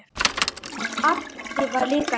Addi var líka hetja.